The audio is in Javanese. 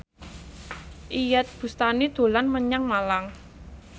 Iyeth Bustami dolan menyang Malang